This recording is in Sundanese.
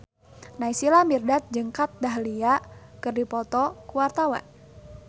Naysila Mirdad jeung Kat Dahlia keur dipoto ku wartawan